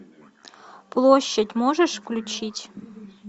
площадь можешь включить